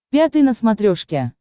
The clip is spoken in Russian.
пятый на смотрешке